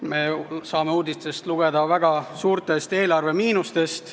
Me saame uudistest lugeda väga suurtest eelarvemiinustest.